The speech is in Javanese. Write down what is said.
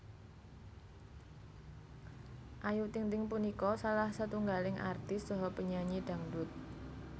Ayu Ting Ting punika salah setunggaling artis saha penyanyi dhangdhut